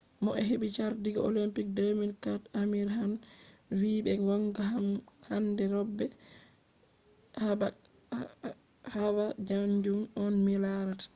mo hebi chardi olympic 2004 amir khan vi’’ be gonga kam handai robe haba kanjum on mi larata’’